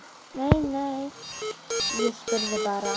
Nei, nei, ég spurði bara